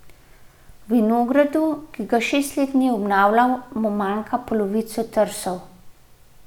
V vinogradu, ki ga šest let ni obnavljal, mu manjka polovica trsov.